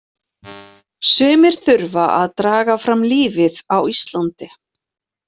Sumir þurfa að draga fram lífið á Íslandi.